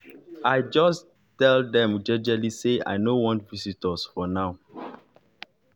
i jus tell dem jejely say i nor want visitors for now